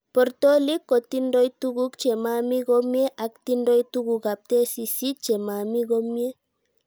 Portolit kotindotuguk chemami komie ak tindoi tugukab tesisyit chemami komie